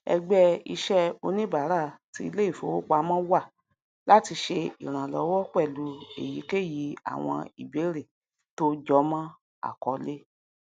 ẹgbẹ iṣẹ oníbàárà ti iléìfowopamọ wà láti ṣe ìrànlọwọ pẹlú èyíkéyìí àwọn ìbéèrè tó jọmọ akọọlẹ